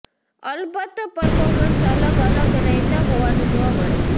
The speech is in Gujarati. અલબત્ત પરફોર્મન્સ અલગ અલગ રહેતા હોવાનું જોવા મળે છે